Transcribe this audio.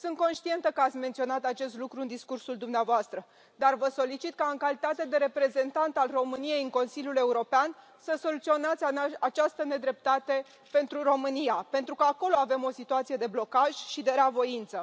Sunt conștientă că ați menționat acest lucru în discursul dumneavoastră, dar vă solicit ca, în calitate de reprezentant al României în Consiliul European, să soluționați această nedreptate pentru România, pentru că acolo avem o situație de blocaj și de rea voință.